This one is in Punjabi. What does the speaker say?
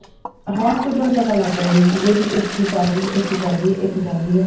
hospital ਪਤਾ ਲੱਗ ਰਹੇ ਸੀ ਵੀ ਇੱਥੇ ਚੱਲ ਆ ਇੱਥੇ ਚੱਲ ਰਹੀ ਆ ਇੱਥੇ ਚੱਲ ਰਹੀ ਆ